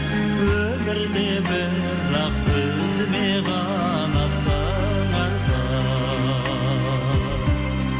өмірде бірақ өзіме ғана сыңарсың